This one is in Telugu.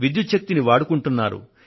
విద్యుత్ శక్తిని వాడుకుంటున్నారు